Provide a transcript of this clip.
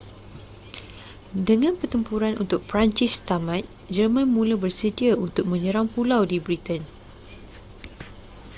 dengan pertempuran untuk perancis tamat jerman mula bersedia untuk menyerang pulau di britain